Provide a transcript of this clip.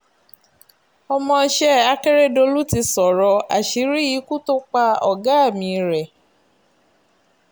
ọmọọṣẹ́ akérèdọ́lù ti sọ̀rọ̀ àṣírí ikú tó pa ọ̀gá mi rèé